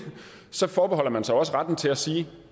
så forbeholder man sig jo også retten til at sige at